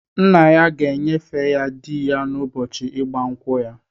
Nna ya ga-enyefe ya di ya n'ụbọchị ịgba nkwụ ya.